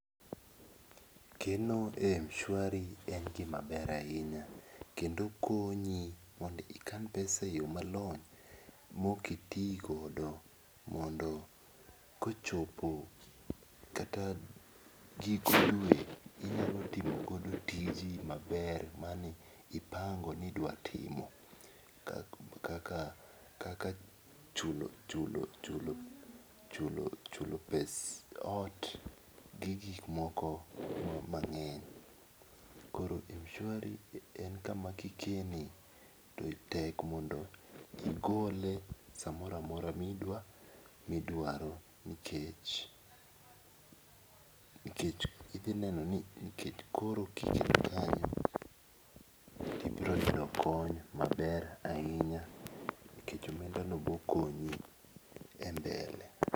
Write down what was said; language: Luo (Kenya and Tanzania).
Keno e mshwari en gi maber ahinya mondo kendo konyi mondo ikan pesa e yo malong'o ma ok iti go mondo kochopo kata giko dwe inyalo timo godo tiji ma ber ma ipango ni idwa timo, kaka kaka chulo chulo chulo pes ot gi gik moko mang'eny. Koro mshwari en ka ma ki ikene to tek mondo igole sa moro amora mi idwaro nikech nikech idhi neno ni nikech koro ki iketo kanyo ibiro yudo kony maber ahinya nikech omenda no biro konyi e mbele.